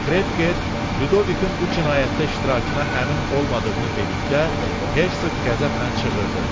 Krefker Lidovikin bu cinayətdə iştirakına əmin olmadığını dedikdə, Hersoq qəzəblə cığırdı.